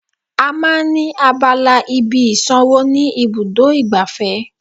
À máa ń ní abala ibi ìsànwó ni ibùdó igbàfẹ́